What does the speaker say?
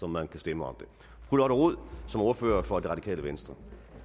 man kan stemme om det fru lotte rod som ordfører for det radikale venstre